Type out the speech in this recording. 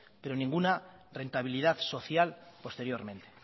pero ninguna rentabilidad social posteriormente